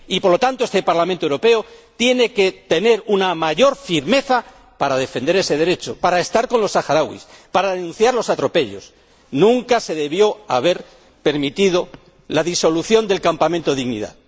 Por lo tanto, este Parlamento Europeo tiene que tener una mayor firmeza para defender ese derecho, para estar con los saharauis, para denunciar los atropellos. Nunca se debió haber permitido la disolución del Campamento Dignidad.